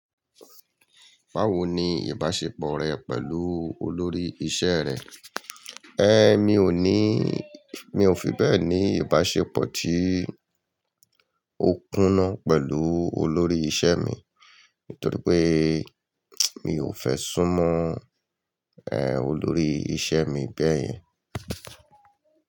Báwo ni ìbáṣepọ̀ rẹ pẹ̀lú olórí iṣẹ́ rẹ? Ẹ́, mi ò ní, mi ò fi bẹ́ẹ̀ ní ìbáṣepọ̀ tí ó kúnnà pẹ̀lú olórí iṣẹ́ mi. Nítorí pé mi ò fẹ́ sún mọ́, ẹ́, olórí iṣẹ́ mi bẹ́yẹn.